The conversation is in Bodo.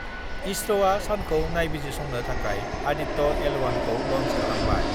इसर'आ सानखौ नायबिजिरसंनो थाखबाय आदित्य-एल 1 खौ लन्च खालामबाय